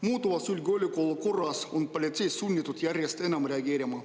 Muutuvas julgeolekuolukorras on politsei sunnitud järjest enam reageerima.